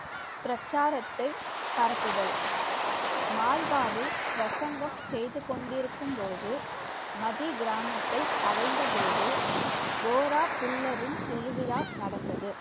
பிரச்சாரத்தை பரப்புதல் மால்வாவில் பிரசங்கம் செய்து கொண்டிருக்கும்போது மதி கிராமத்தை அடைந்த போது கோரா புல்லரின் திருவிழா நடந்தது.